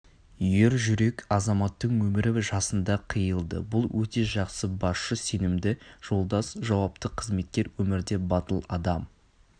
ержүрек азаматтың өмірі жасында қиылды бұл өте жақсы басшы сенімді жолдас жауапты қызметкер өмірде батыл адам